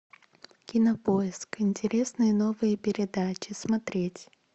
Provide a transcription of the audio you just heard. кинопоиск интересные новые передачи смотреть